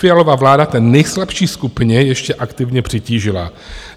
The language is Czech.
Fialova vláda té nejslabší skupině ještě aktivně přitížila.